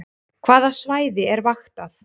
Hvaða svæði er vaktað